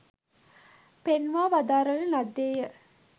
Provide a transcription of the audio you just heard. පෙන්වා වදාරන ලද්දේ ය